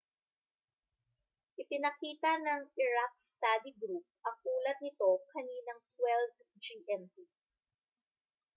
ipinakita ng iraq study group ang ulat nito kaninang 12.00 gmt